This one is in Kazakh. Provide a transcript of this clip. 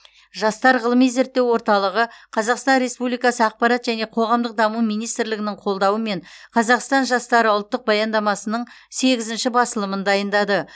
жастар ғылыми зерттеу орталығы қазақстан республикасы ақпарат және қоғамдық даму министрлігінің қолдауымен қазақстан жастары ұлттық баяндамасының сегізінші басылымын дайындады